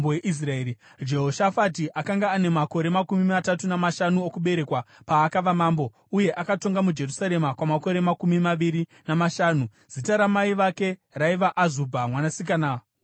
Jehoshafati akanga ane makore makumi matatu namashanu okuberekwa paakava mambo, uye akatonga muJerusarema kwamakore makumi maviri namashanu. Zita ramai vake raiva Azubha, mwanasikana waShirihi.